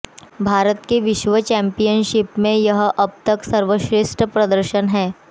भारत का विश्व चैंपियनशिप में यह अबतक सर्वश्रेष्ठ प्रदर्शन है